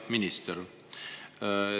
Hea minister!